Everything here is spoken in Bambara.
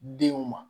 Denw ma